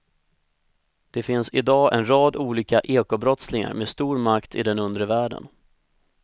Det finns i dag en rad olika ekobrottslingar med stor makt i den undre världen.